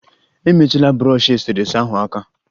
Emetụla brọshi eserese ahụ aka!